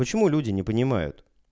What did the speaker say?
почему люди не понимают